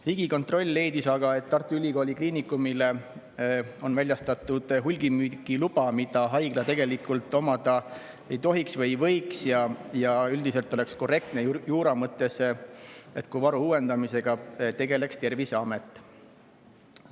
Riigikontroll leidis aga, et Tartu Ülikooli Kliinikumile on väljastatud hulgimüügiluba, mida haigla tegelikult omada ei tohiks või ei võiks, ja üldiselt oleks juura mõttes korrektne, et varude uuendamisega tegeleks Terviseamet.